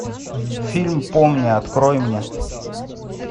фильм помни открой мне